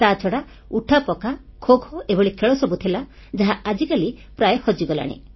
ତାଛଡ଼ା ଉଠାପକା ଖୋ ଖୋ ଏଭଳି ଖେଳ ସବୁ ଥିଲା ଯାହା ଆଜିକାଲି ପ୍ରାୟ ହଜିଗଲାଣି